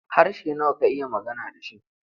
Harshe nawa ka iya magana da shi?